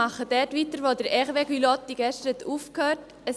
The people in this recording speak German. Ich fahre dort fort, wo Hervé Gullotti gestern aufgehört hat.